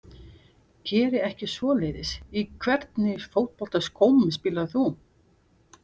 Geri ekki svoleiðis Í hvernig fótboltaskóm spilar þú?